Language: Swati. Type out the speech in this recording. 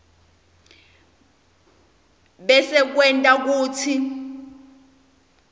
bese kwenta kutsi